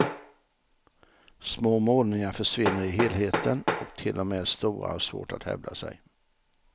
Små målningar försvinner i helheten och till och med stora har svårt att hävda sig.